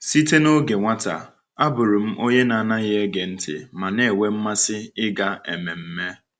Site n’oge nwata, abụrụ m onye na-anaghị ege ntị ma na-enwe mmasị ịga ememme.